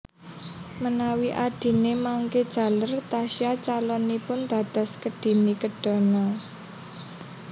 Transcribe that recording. Menawi adhine mangke jaler Tasya calonipun dados kedhini kedhana